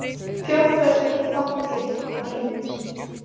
Fjárfesting falli að ímynd